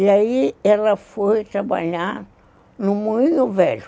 E aí ela foi trabalhar no Moinho Velho.